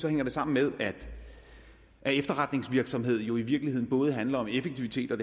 hænger det sammen med at efterretningsvirksomhed jo i virkeligheden både handler om effektivitet og